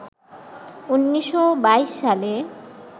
১৯২২ সালে